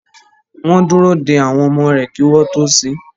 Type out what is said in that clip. Wọn dúró de àwọn ọmọ rẹ kí wọn tó sín